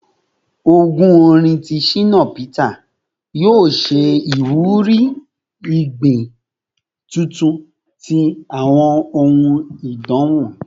Ogún orin ti Shina Peter yoo ṣe iwuri igbi tuntun ti awọn ohun idanwo